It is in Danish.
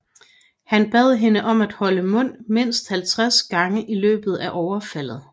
Han bad hende om at holde mund mindst 50 gange i løbet af overfaldet